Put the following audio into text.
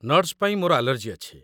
Nuts ପାଇଁ ମୋର allergy ଅଛି।